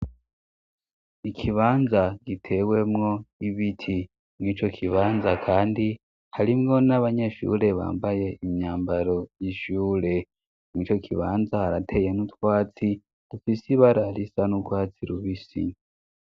Ikibanza gitewemwo ibiti mw' ico kibanza kandi harimwo n'abanyeshure bambaye imyambaro y'ishure ,mw' ico kibanza harateye n'utwatsi dufise ibara risa n'ugwatsi rubisi